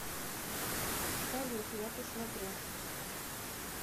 салют я посмотрю